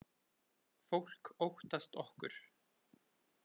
Fólk óttast okkur.